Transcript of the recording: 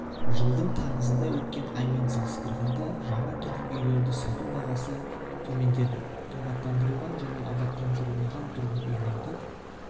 жылдың тамызында өткен аймен салыстырғанда жаңа тұрғын үйлерді сату бағасы ғатөмендеді абаттандырылған және абаттандырылмаған тұрғын үйлерді